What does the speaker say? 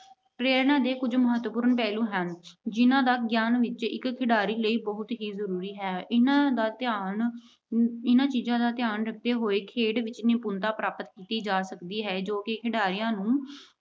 ਪ੍ਰੇਰਨਾ ਦੇ ਕੁਝ ਮਹਤਵਪੂਰਨ ਪਹਿਲੂ ਹਨ, ਜਿਹਨਾਂ ਦਾ ਗਿਆਨ ਖਿਡਾਰੀ ਲਈ ਬਹੁਤ ਹੀ ਜ਼ਰੂਰੀ ਹੈ। ਇਹਨਾਂ ਦਾ ਧਿਆਨ ਅਹ ਇਹਨਾਂ ਚੀਜਾਂ ਦਾ ਧਿਆਨ ਰੱਖਦੇ ਹੋਏ ਖੇਡ ਵਿੱਚ ਨਿਪੁੰਨਤਾ ਪ੍ਰਾਪਤ ਕੀਤੀ ਜਾ ਸਕਦੀ ਹੈ ਜੋ ਕਿ ਖਿਡਾਰੀਆਂ ਨੂੰ